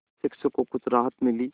शिक्षक को कुछ राहत मिली और